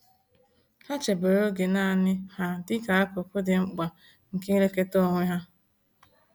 Ha chebere oge naanị ha dịka akụkụ dị mkpa nke ilekọta onwe ha.